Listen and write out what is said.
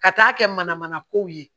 Ka taa kɛ mana mana kow ye